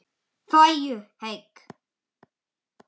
Farðu heill.